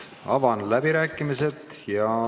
Avan läbirääkimised.